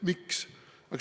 Miks?